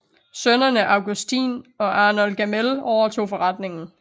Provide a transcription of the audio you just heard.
Sønnene Augustin og Arnold Gamél overtog forretningen